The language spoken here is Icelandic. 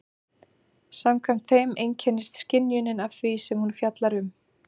Samkvæmt þeim einkennist skynjunin af því sem hún fjallar um.